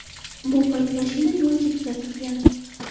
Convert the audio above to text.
Bu payt mashina yo‘l chetida turgan.